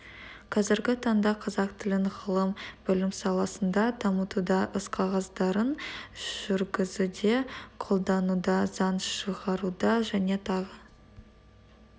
қазіргі таңда қазақ тілін ғылым білім саласында дамытуда іс қағаздарын жүргізуде қолдануда заң шығаруда және тағы